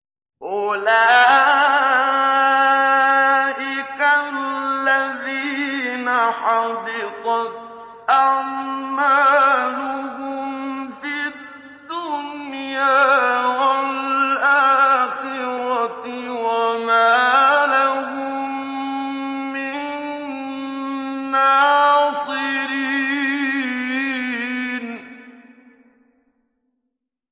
أُولَٰئِكَ الَّذِينَ حَبِطَتْ أَعْمَالُهُمْ فِي الدُّنْيَا وَالْآخِرَةِ وَمَا لَهُم مِّن نَّاصِرِينَ